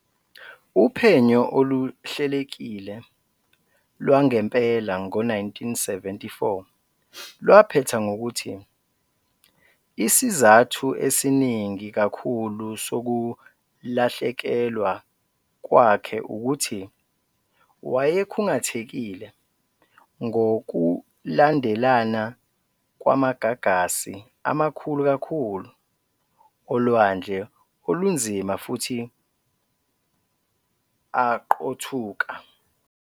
Uphenyo oluhlelekile lwangempela ngo-1974 lwaphetha ngokuthi isizathu esiningi kakhulu sokulahlekelwa kwakhe ukuthi wayekhungathekile ngokulandelana kwamagagasi amakhulu kakhulu olwandle olunzima futhi aqothuka.